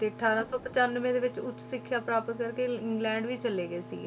ਤੇ ਅਠਾਰਾਂ ਸੌ ਪਚਾਨਵੇਂ ਦੇ ਵਿੱਚ ਉੱਚ ਸਿੱਖਿਆ ਪ੍ਰਾਪਤ ਕਰਕੇ ਇੰਗਲੈਂਡ ਵੀ ਚਲੇ ਗਏ ਸੀ,